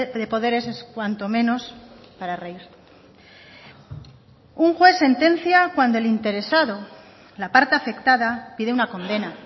de poderes es cuanto menos para reír un juez sentencia cuando el interesado la parte afectada pide una condena